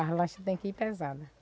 As lanchas tem que ir pesadas.